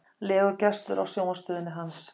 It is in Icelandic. legur gestur á sjónvarpsstöðinni hans.